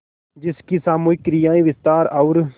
जिसकी सामूहिक क्रियाएँ विस्तार और